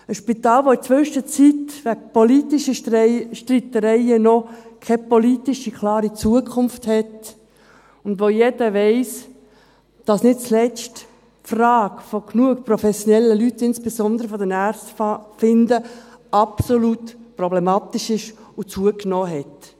Ein Spital, das in der Zwischenzeit wegen politischer Streitereien noch keine klare politische Zukunft hat, und von dem jeder weiss, dass nicht zuletzt die Frage, genug professionelle Personen, insbesondere Ärzte, zu finden, absolut problematisch ist und zugenommen hat.